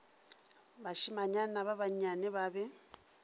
bašimanyana ba bannyane ba be